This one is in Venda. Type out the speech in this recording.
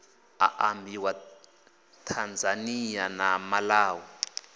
a ambiwa tanzania na malawi